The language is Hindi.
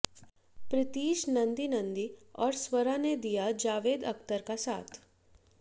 प्रीतीश नंदीनंदी और स्वरा ने दिया जावेद अख्तर का साथ